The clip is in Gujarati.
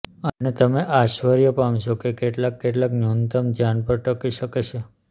અને તમે આશ્ચર્ય પામશો કે કેટલાક કેટલાંક ન્યૂનતમ ધ્યાન પર ટકી શકે છે